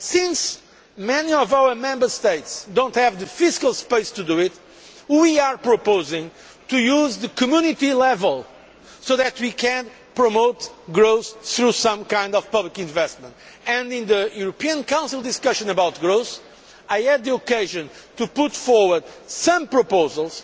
Since many of our Member States do not have the fiscal space to do this, we are proposing to use the Community level so that we can promote growth through some kind of public investment. In the European Council discussion on growth I had the occasion to put forward some proposals,